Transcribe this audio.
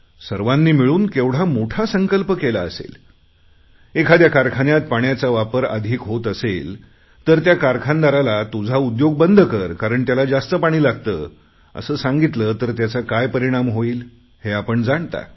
सर्वांनी मिळून केवढा मोठा संकल्प केला असेल एखाद्या कारखान्यात पाण्याचा वापर अधिक होत असेल तर त्या कारखानदाराला तुझा उद्योग बंद कर कारण त्याला जास्त पाणी लागते असे सांगितले तर त्याचा काय परिणाम होईल हे आपण जाणता